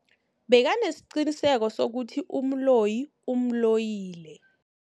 Bekanesiqiniseko sokuthi umloyi umloyile.